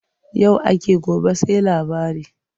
Yau ake gobe sai labari.